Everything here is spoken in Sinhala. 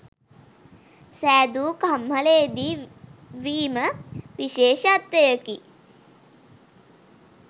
සෑදු කම්හලේ දී වීම විශේෂත්වයකි.